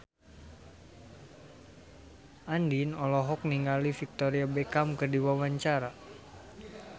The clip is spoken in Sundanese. Andien olohok ningali Victoria Beckham keur diwawancara